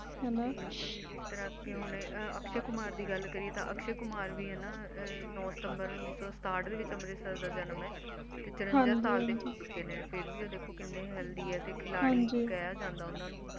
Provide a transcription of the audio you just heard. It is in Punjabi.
ਤੇ ਜਿਸ ਤਰਾਹ ਕੇ ਹੁਣ ਅਕਸ਼ਯ ਕੁਮਾਰ ਦੀ ਗੱਲ ਕਰੀਏ ਤਾ ਅਕਸ਼ਯ ਕੁਮਾਰ ਵੀ ਹੈਨਾ ਨੋ ਸਿਤੰਬਰ ਉਨੀਸ ਸੌ ਸਥਾਟ ਦੇ ਵਿਚ ਅੰਮ੍ਰਿਤਸਰ ਦਾ ਜਨਮ ਹੈ ਤੇ ਚੁਰੰਜਾ ਸਾਲ ਦੇ ਹੋ ਚੁਕੇ ਨੇ ਫੇਰ ਵੀ ਉਹ ਦੇਖੋ ਕਿੰਨੇ Healthy ਹੈ ਤੇ ਖਿਲਾੜੀ ਕਿਹਾ ਜਾਂਦਾ ਉਹਨਾਂ ਨੂੰ